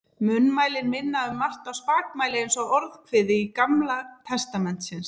Munnmælin minna um margt á spakmæli eins og Orðskviði Gamla testamentisins.